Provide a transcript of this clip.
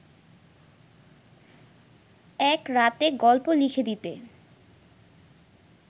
এক রাতে গল্প লিখে দিতে